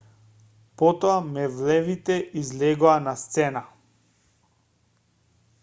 потоа мевлевите излегоа на сцена